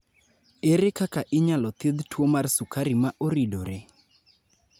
Ere kaka inyalo thiedh tuo mar sukari ma oridore?